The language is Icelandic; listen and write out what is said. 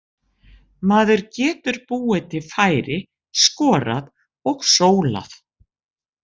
Maður getur búið til færi, skorað og sólað.